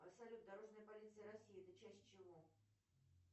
салют дорожная полиция россии это часть чего